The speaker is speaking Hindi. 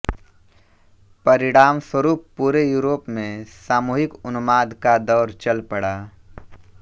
परिणामस्वरूप पूरे यूरोप में सामूहिक उन्माद का दौर चल पड़ा